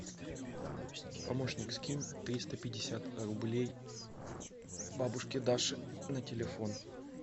помощник скинь триста пятьдесят рублей бабушке даше на телефон